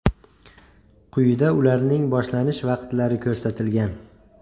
Quyida ularning boshlanish vaqtlari ko‘rsatilgan.